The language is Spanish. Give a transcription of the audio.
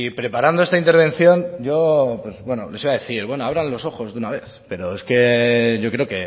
preparando esta intervención yo les iba a decir bueno abran los ojos de una vez pero es que yo creo